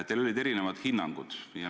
Teil olid erinevad hinnangud.